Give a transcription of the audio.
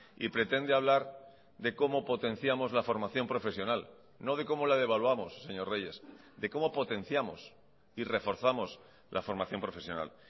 y pretende hablar de cómo potenciamos la formación profesional no de cómo la devaluamos señor reyes de cómo potenciamos y reforzamos la formación profesional